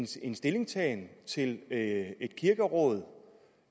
sin stillingtagen til et kirkeråd